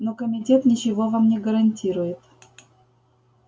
но комитет ничего вам не гарантирует